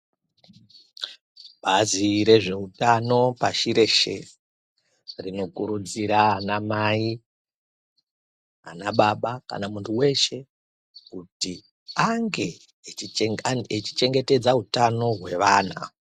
Bazi rezveutano pashi reshe, rinokurudzira ana mai, ana baba kana muntu weshe kuti ange achichengetedza utano hwevana.